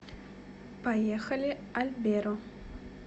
поехали альберо